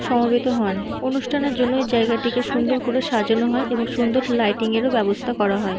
সমবেত হন। অনুষ্ঠানের জন্য এই জায়গাটিকে সুন্দর করে সাজানো হয় এবং সুন্দর লাইটিং -এর ব্যাবস্তা করা হয়।